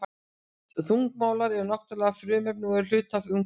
Þungmálmar eru náttúruleg frumefni og eru hluti af umhverfinu.